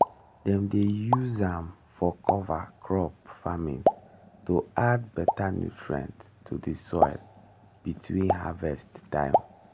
dem dey use am for cover crop farming to add better nutrient to the soil between harvest time.